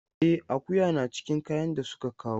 E, akuya na cikin kayan da suka kawo.